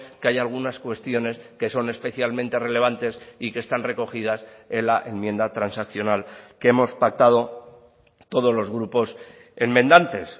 que hay algunas cuestiones que son especialmente relevantes y que están recogidas en la enmienda transaccional que hemos pactado todos los grupos enmendantes